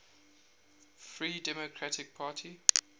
free democratic party